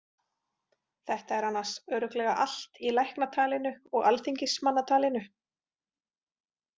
Þetta er annars örugglega allt í læknatalinu og alþingismannatalinu.